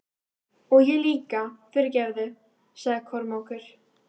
Og ég líka, fyrirgefðu, sagði Kormákur.